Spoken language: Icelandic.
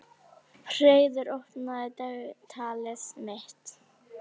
Og einmitt þannig leið henni líka sjálfri.